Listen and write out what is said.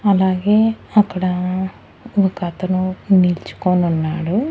అలాగే అక్కడ ఒకతను నిల్చుకోనున్నాడు.